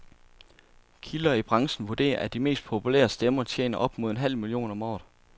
Kilder i branchen vurderer, at de mest populære stemmer tjener op mod en halv million om året.